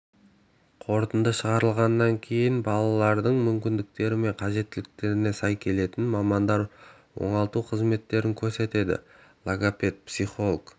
қорытынды шығарылғаннан кейін баланың мүмкіндіктері мен қажеттіліктеріне сай келесі мамандар оңалту қызметтерін көрсетеді логопед психолог